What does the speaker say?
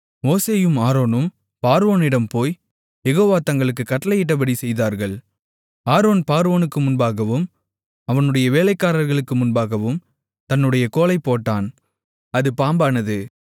மோசேயும் ஆரோனும் பார்வோனிடம் போய் யெகோவா தங்களுக்குக் கட்டளையிட்டபடி செய்தார்கள் ஆரோன் பார்வோனுக்கு முன்பாகவும் அவனுடைய வேலைக்காரர்களுக்கு முன்பாகவும் தன்னுடைய கோலைப் போட்டான் அது பாம்பானது